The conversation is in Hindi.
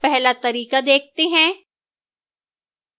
पहला तरीका देखते हैं